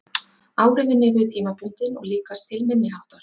Áhrifin yrðu tímabundin og líkast til minniháttar.